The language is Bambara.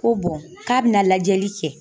Ko k'a bɛna lajɛli kɛ